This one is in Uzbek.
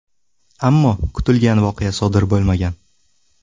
Ammo kutilgan voqea sodir bo‘lmagan.